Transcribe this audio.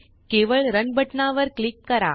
केवळ रन बटनावर क्लिक करा